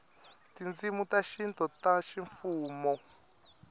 tindzimi ta xintu ta ximfumo